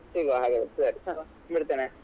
ಸಿಗುವ ಹಾಗಾದ್ರೆ ಸರಿ ಇಡ್ತೇನೆ.